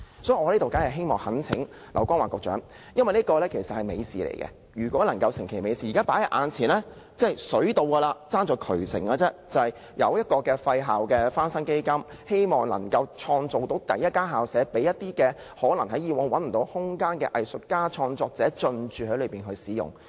所以，我懇請劉江華局長，因為這是美事，如果能夠促成美事，現在已經"水到"，還欠"渠成"，現在已經有"廢校翻新基金"，希望能夠敲定第一間棄置校舍，讓一些以往找不到空間的藝術家及創作者進駐使用。